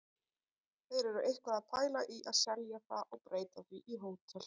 Þeir eru eitthvað að pæla í að selja það og breyta því í hótel.